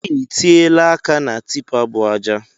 I tiela áká na tipa bu ájá